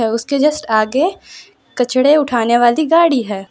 उसके जस्ट आगे कचड़े उठाने वाली गाड़ी है।